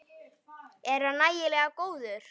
Er hann nægilega góður?